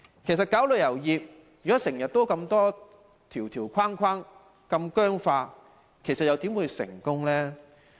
其實發展旅遊業，設立這麼多條條框框、如此僵化，又怎會成功？